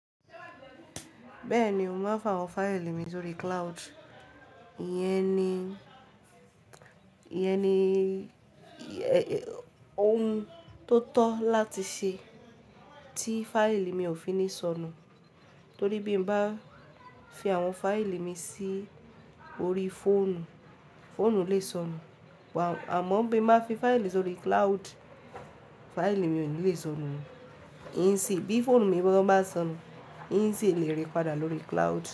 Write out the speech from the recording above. Bẹ́ẹ̀ni, mo máa ń fa àwọn fáìlì mi lórí cloud. Ìyẹn ni, Ìyẹn ni ohun tó tọ́ láti ṣe tí fáìlì mi ò fi ní sọnù. Torí bí mo bá fi àwọn fáìlì mi sí orí fóònù, fóònù lè sọnù. Àmọ́ bí mo bá fi fáìlì sórí cloud, fáìlì mi ò ní lè sọnù. Ní sì bí fóònù mi gán báa sọnù, n si lè rí padà lórí cloud.